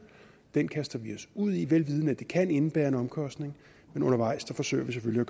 den kaster vi os ud i velvidende at det kan indebære en omkostning men undervejs forsøger vi selvfølgelig